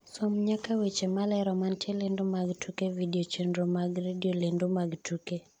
som nyaka weche malero mantie lendo mag tuke vidio chenro mag redio lendo mag tuke